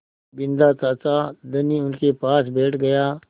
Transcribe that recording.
बिन्दा चाचा धनी उनके पास बैठ गया